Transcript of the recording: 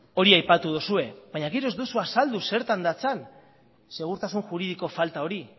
hori aipatu duzue baina gero ez duzue azaldu zertan datzan segurtasun juridiko falta hori